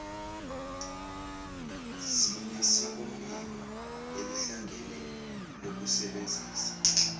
sinesikompilo elihlangene lokusebenzisa